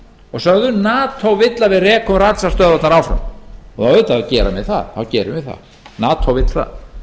og sögðu nato vill að við rekum ratsjárstöðvarnar áfram og auðvitað gerum við það nato vill það